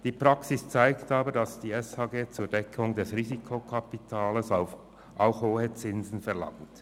Die Praxis zeigt aber, dass die SGH zur Deckung des Risikokapitals auch hohe Zinsen verlangt.